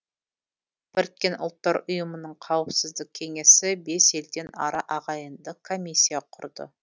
біріккен ұлттар ұйымының қауіпсіздік кеңесі бес елден ара ағайындық комиссия құрды